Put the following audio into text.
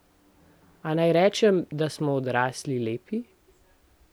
A naj rečem, da smo odrasli lepi?